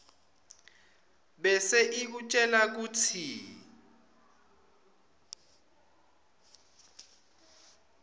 bese ikutjela kutsi